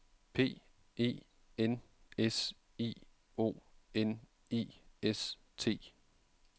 P E N S I O N I S T